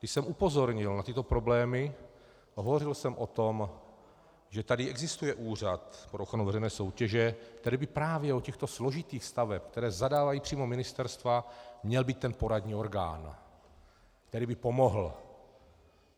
Když jsem upozornil na tyto problémy, hovořil jsem o tom, že tady existuje Úřad pro ochranu veřejné soutěže, který by právě u těchto složitých staveb, které zadávají přímo ministerstva, měl být ten poradní orgán, který by pomohl.